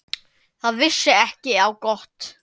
Það vissi ekki á gott.